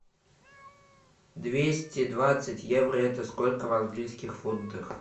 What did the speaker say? двести двадцать евро это сколько в английских фунтах